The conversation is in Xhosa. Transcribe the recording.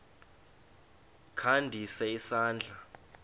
kha ndise isandla